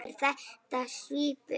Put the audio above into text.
Er þetta svipuð